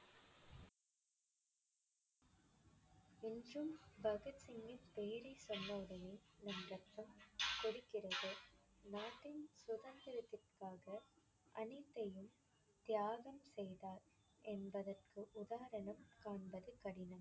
என்றும் பகத் சிங்கின் பேரைச் சொன்னவுடனே நம் ரத்தம் கொதிக்கிறது. நாட்டின் சுதந்திரத்திற்காக அனைத்தையும் தியாகம் செய்தார் என்பதற்கு உதாரணம் காண்பது கடினம்.